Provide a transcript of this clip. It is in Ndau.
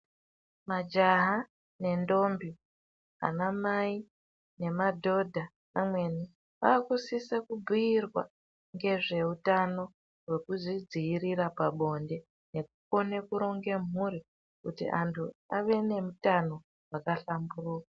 Majaha nendombi, anamai nemadhodha amweni aakusise kubhuirwa ngezveutano hwekuzvidziirira pabonde nekukone kuronge mhuri kuti antu ave neutano hwaka hlamburuka.